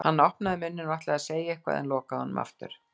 Hann opnaði munninn, ætlaði að segja eitthvað en lokaði honum aftur.